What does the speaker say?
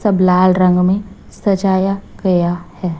सब लाल रंग में सजाया गया है।